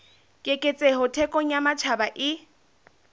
keketseho thekong ya matjhaba e